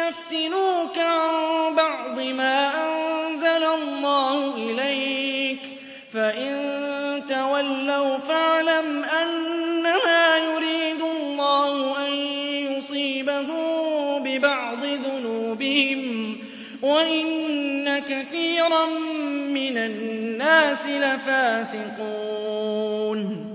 يَفْتِنُوكَ عَن بَعْضِ مَا أَنزَلَ اللَّهُ إِلَيْكَ ۖ فَإِن تَوَلَّوْا فَاعْلَمْ أَنَّمَا يُرِيدُ اللَّهُ أَن يُصِيبَهُم بِبَعْضِ ذُنُوبِهِمْ ۗ وَإِنَّ كَثِيرًا مِّنَ النَّاسِ لَفَاسِقُونَ